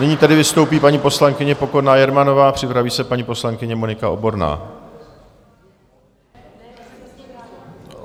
Nyní tedy vystoupí paní poslankyně Pokorná Jermanová, připraví se paní poslankyně Monika Oborná.